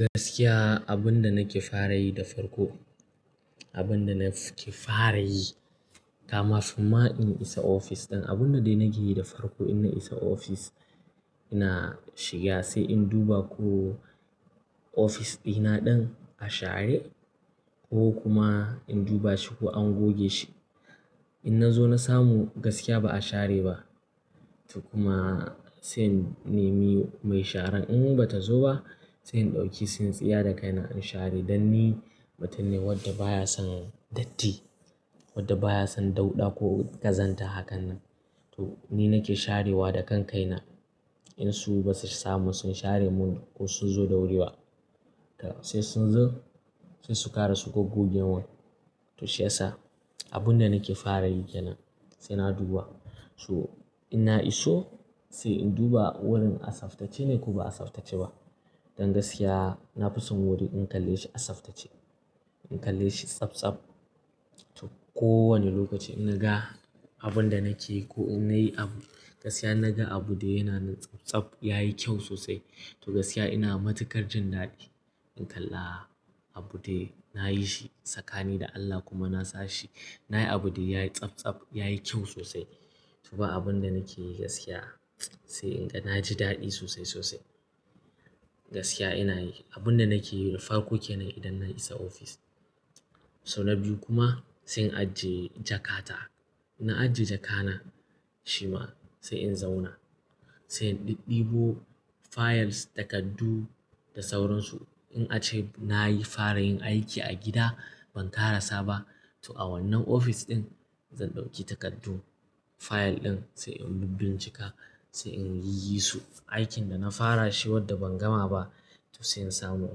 Gaskiya abin da nake fara yi da farko, abin da nake fara yi, kama fi ma in isa ofis din. Abun da dai nake yi da farko in na isa ofis, ina shiga sai in duba ko ofis ɗina ɗin a share ko kuma in duba shi ko an goge shi. In na zo na samu gaskiya ba a share ba, to kuma sai in nemi mai sharan. In bata zo ba, sai in ɗauki, tsinstiya i da kaina in share dan ni mutum ne wadda baya son datti, wadda baya son dauɗa ko ƙazanta hakan nan. To ni nake sharewa da kan kaina. In su basu samu sun share mun ko sun zo da wuri ba, to sai sun zo sai su ƙara su goge wan. To shi yasa abin da nake fara yi kenan sai na duba. So in na iso sai in duba wurin a tsaftace ne ko ba a tsaftace ba. Dan gaskiya na fi son wuri in kalle shi a tsaftace, in kalle shi tsabtsab. To kowane lokaci in naga abin da nake yi ko in nayi abu gaskiya in naga abu de yana nan tsabtsab yayi kyau sosai. To gaskiya ina matukar jin daɗi in kalla abude nayi shi tsakani da Allah kuma na sashi. Nayi abu de yayi tsabtsab, yayi kyau sosai. So ba abin da nake yi gaskiya sai in na ji daɗi sosai, sosai. Gaskiya inayi abin da nake yi da farko kenan idan na isa ofis. So na biyu kuma sai in ajiye jakata. Na ajiye jakana, shima sai in zauna. Sai in ɗiɗdibo files, takardu da sauransu. In ace nayi fara yin aiki a gida ban ƙara saba. To a wannan ofis ɗin zan ɗauki takardu, fayil ɗin sai in bibbincika, sai in yi su aikin da na fara shi wadda ban gama ba to sai in samu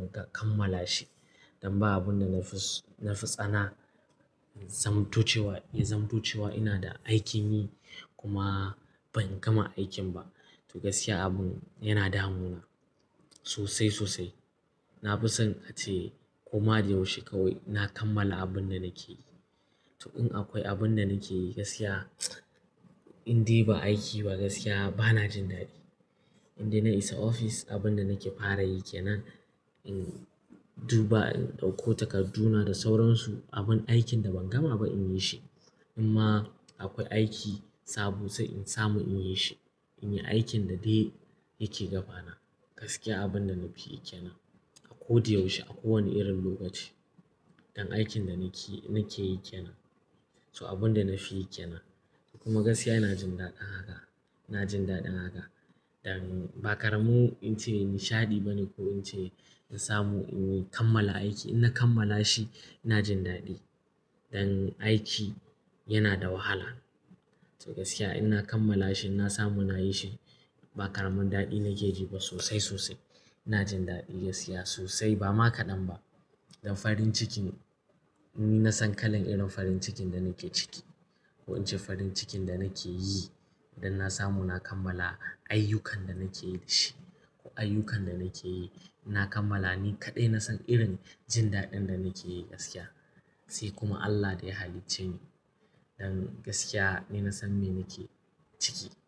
in kammala shi. Dan ba abun da na fi tsana zamto ace wa, ya zamtoce wa ina da aiki yi kuma ban gama aikin ba. To gaskiya abin yana damuna sosai, sosai. Na fi son ace, koma da yaushe kawai na kammala abin da nake yi. To in akwai abun da nake yi gaskiya in dai ba aiki ba gaskiya bana jin daɗi. In dai na isa ofis abin da nake fara yi kenan in duba, in ɗauko takardu na da sauransu abun aikin da ban gama ba in yi shi. Imma akwai aiki sabo sai in samu in yi shi. In yi aikin da dai yake gaba na. Gaskiya abin da na fi yi ke nan a ko da yaushe, a kowane irin lokaci. Dan aikin da nake yi kenan. To abin da na fi yi ke nan. Kuma gaskiya ina jin daɗin haka, ina jin daɗin haka. Dan ba karamin in ce nishaɗi bane ko in ce in samu in kammala aiki. In na kammala shi ina jin daɗi. Dan aiki yana da wahala. To gaskiya ina kammala shi, in na samu na yi shi ba karamin daɗi nake ji ba sosai, sosai. Ina jin daɗi gaskiya sosai ba ma kaɗan ba. Dan farin ciki ne. Ni na san kalan irin farin cikin da nake ciki. Ko in ce farin cikin da nake yi idan na samu na kammala ayyukan da nake yi da shi ko ayyukan da nake yi na kammala ni kaɗai nasan irin jin daɗin da nake yi gaskiya. Sai kuma Allah da ya halicce ni. Dan gaskiya ni na san me nake ciki.